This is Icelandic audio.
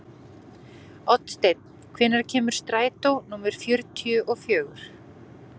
Oddsteinn, hvenær kemur strætó númer fjörutíu og fjögur?